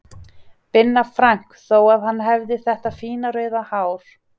Binna Frank þó að hann hefði þetta fína rauða hár.